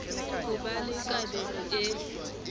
ho ba le kabelo e